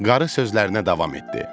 Qarı sözlərinə davam etdi.